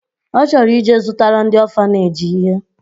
Ọ chọrọ ije zụtara ndị ọfaneji ihe